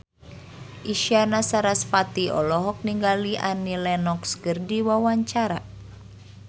Isyana Sarasvati olohok ningali Annie Lenox keur diwawancara